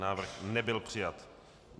Návrh nebyl přijat.